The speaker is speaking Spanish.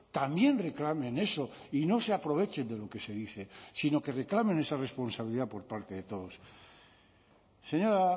también reclamen eso y no se aprovechen de lo que se dice sino que reclamen esa responsabilidad por parte de todos señora